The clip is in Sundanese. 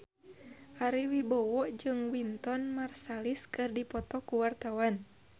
Ari Wibowo jeung Wynton Marsalis keur dipoto ku wartawan